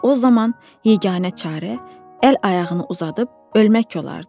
Və o zaman yeganə çarə əl-ayağını uzadıb ölmək olardı.